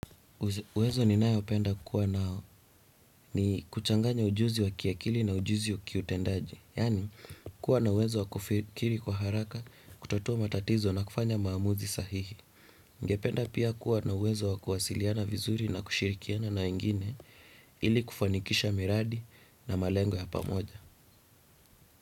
Uwezo ninayopenda kua nao ni kuchanganya ujuzi wa kiakili na ujuzi kiutendaji. Yani kuwa na uwezo wa kufikiri kwa haraka, kutatua matatizo na kufanya maamuzi sahihi. Ningependa pia kuwa na uwezo wa kuwasiliana vizuri na kushirikiana na wengine ili kufanikisha miradi na malengo ya pamoja.